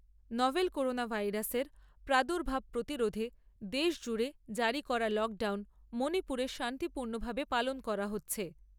Novel corona ভাইরাসের প্রাদুর্ভাব প্রতিরোধে দেশজুড়ে জারী করা লকডাউন মণিপুরে শান্তিপূর্ণভাবে পালন করা হচ্ছে।